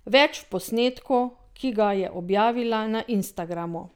Več v posnetku, ki ga je objavila na Instagramu!